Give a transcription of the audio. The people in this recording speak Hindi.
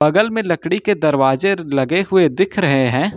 बगल में लकड़ी के दरवाजे लगे हुए दिख रहे हैं।